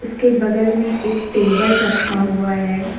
उसके बगल में एक टेबल रखा हुआ है।